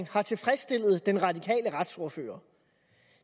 har tilfredsstillet den radikale retsordfører